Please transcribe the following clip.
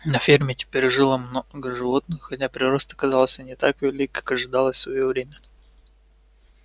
на ферме теперь жило много животных хотя прирост оказался не так велик как ожидалось в своё время